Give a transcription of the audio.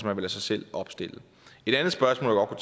man lade sig selv opstille et andet spørgsmål